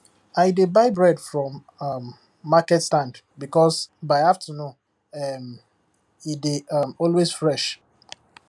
i dey buy bread from um market stand because by afternoon um e dey um always fresh